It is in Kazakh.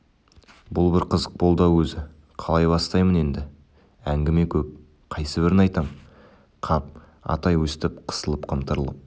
бұл бір қызық болды-ау өзі қалай бастаймын енді әңгіме көп қайсыбірін айтам қап атай өстіп қысылып-қымтырылып